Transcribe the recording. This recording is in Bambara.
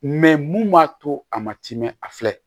mun b'a to a ma timi a filɛ